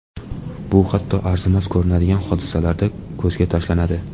Bu hatto arzimas ko‘rinadigan hodisalarda ko‘zga tashlanadi.